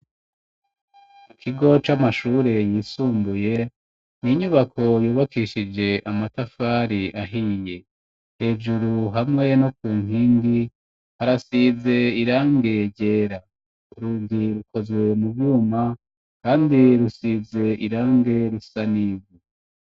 Ikigo c'amashure yisumbuye ni inyubako yubakishije amatafari ahiye. Hejuru hamwe no ku nkingi harasize irangi ryera urugi rukozwe mu vyuma kandi rusize irangi risa n'ivu.